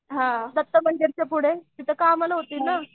हां दत्त मंदिरच्या पुढे तिथे कामाला होती ना.